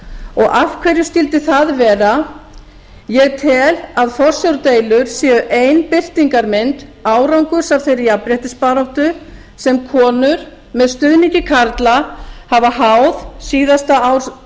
og af hverju skyldi það vera ég tel að forsjárdeilur séu ein birtingarmynd árangurs af þeirri jafnréttisbaráttu sem konur með stuðningi karla hafa háð síðasta